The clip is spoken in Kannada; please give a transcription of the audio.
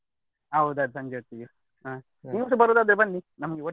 ಹೌದು ಅದು ಸಂಜೆ ಹೊತ್ತಿಗೆ ಹಾ ಸರಿ ನೀವ್ಸ ಬರುದಾದ್ರೆ ಬನ್ನಿ ನಮ್ಗೆ ಒಟ್ಟಿಗೆ.